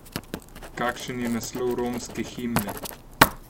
Kakšen je naslov romske himne?